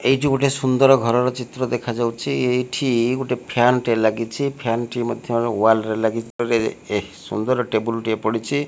ଏଇ ଯୁ ଗୋଟେ ସୁନ୍ଦର ଘର ର ଚିତ୍ର ଦେଖା ଯାଉଛି ଏଇଠି ଗୋଟେ ଫ୍ୟାନ ଟେ ଲାଗିଛି ଫ୍ୟାନ ଟି ମଧ୍ୟ ୱାଲ୍ ରେ ଲାଗିଛି ଏ ସୁନ୍ଦର ଟେବୁଲ୍ ଟେ ପଡ଼ିଛି।